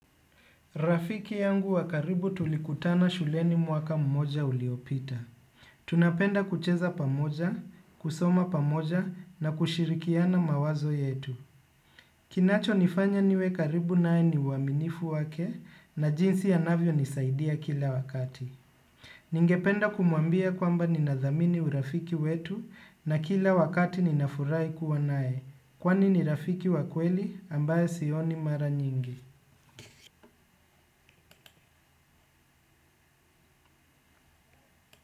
Rafiki yangu wa karibu tulikutana shuleni mwaka mmoja uliopita. Tunapenda kucheza pamoja, kusoma pamoja na kushirikiana mawazo yetu. Kinachonifanya niwe karibu naye ni uaminifu wake na jinsi anavyonisaidia kila wakati. Ningependa kumuambia kwamba ninadhamini urafiki wetu na kila wakati ninafurahi kuwa naye. Kwani ni rafiki wa kweli ambaye sioni mara nyingi.